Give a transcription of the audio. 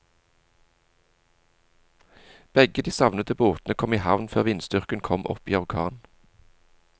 Begge de savnede båtene kom i havn før vindstyrken kom opp i orkan.